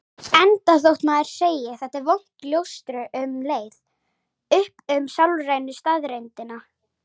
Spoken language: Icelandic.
Enda þótt maður sem segi: Þetta er vont ljóstri um leið upp um sálrænu staðreyndina.